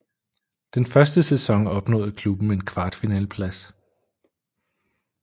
Den første sæson opnåede klubben en kvartfinaleplads